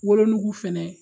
Wolonugu fɛnɛ